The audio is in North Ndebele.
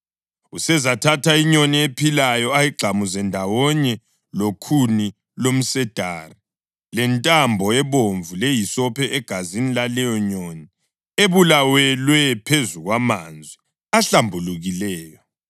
Usezathatha inyoni ephilayo ayigxamuze ndawonye lokhuni lomsedari, lentambo ebomvu lehisophi egazini laleyo nyoni ebulawelwe phezu kwamanzi ahlambulukileyo.